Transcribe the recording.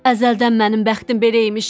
Əzəldən mənim bəxtim belə imiş.